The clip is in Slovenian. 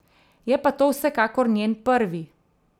Je pa to vsekakor njen prvi...